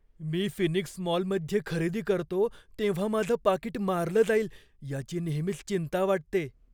मी Phoenix मॉलमध्ये खरेदी करतो तेव्हा माझं पाकीट मारलं जाईल याची नेहमीच चिंता वाटते.